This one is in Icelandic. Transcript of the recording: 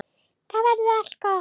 Þá verður allt gott.